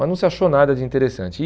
Mas não se achou nada de interessante. E